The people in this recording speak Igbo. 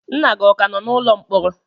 nna gị ọ ka nọ n'ụlọ mkpọrọ?